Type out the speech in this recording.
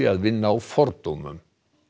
að vinna á fordómum